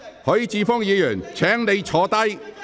許智峯議員，請發言。